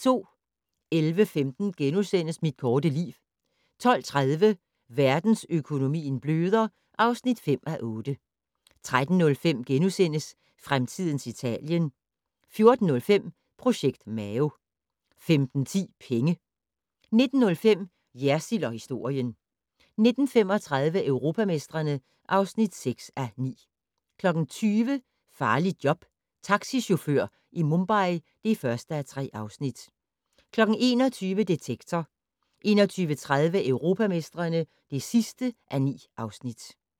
11:15: Mit korte liv * 12:30: Verdensøkonomien bløder (5:8) 13:05: Fremtidens Italien * 14:05: Projekt Mao 15:10: Penge 19:05: Jersild & historien 19:35: Europamestrene (6:9) 20:00: Farligt job - taxichauffør i Mumbai (1:3) 21:00: Detektor 21:30: Europamestrene (9:9)